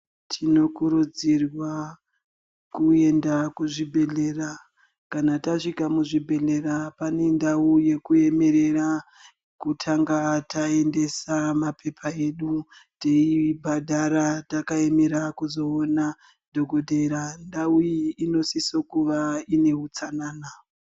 Tinokuridzirwq kuenda kuzvibhehlera kana tasvika muzvibhehlera pane ndau yekuemerere kutanga taendesa mapepa edu teibhadhara takaemera kuzoona dhokotera. Ndau iyi inosisa kuva ineutsanana